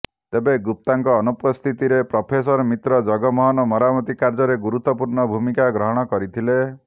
ତେବେ ଗୁପ୍ତାଙ୍କ ଅନୁପସ୍ଥିତିରେ ପ୍ରଫେସର ମିତ୍ର ଜଗମୋହନ ମରାମତି କାର୍ଯ୍ୟରେ ଗୁରୁତ୍ୱପୂର୍ଣ୍ଣ ଭୂମିକା ଗ୍ରହଣ କରିଥିଲେ